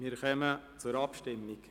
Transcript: Wir kommen zur Abstimmung.